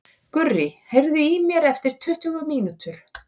Gurrý, heyrðu í mér eftir tuttugu mínútur.